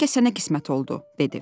Bəlkə sənə qismət oldu, dedi.